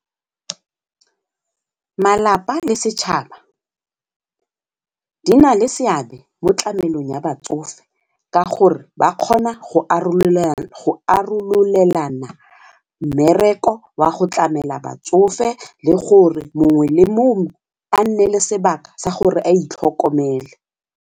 Malapa le setšhaba di na le seabe mo tlamelong ya batsofe ka gore ba kgona go arololelana mmereko wa go tlamela batsofe le gore mongwe le mongwe a nne le sebaka sa gore a itlhokomele.